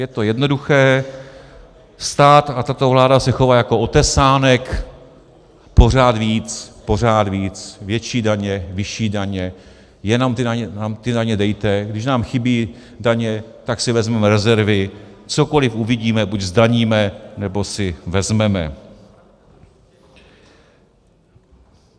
Je to jednoduché: stát a tato vláda se chová jako otesánek, pořád víc, pořád víc, větší daně, vyšší daně, jenom nám ty daně dejte, když nám chybí daně, tak si vezmeme rezervy, cokoliv uvidíme, buď zdaníme, nebo si vezmeme.